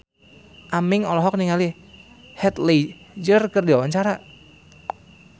Aming olohok ningali Heath Ledger keur diwawancara